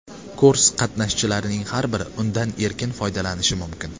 Kurs qatnashchilarining har biri undan erkin foydalanishi mumkin.